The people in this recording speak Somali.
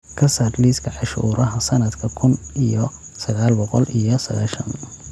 ka saar liiska cashuuraha sanadka kun iyo sagaal boqol iyo sagaashan